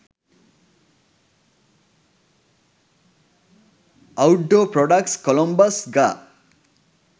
outdoor products columbus ga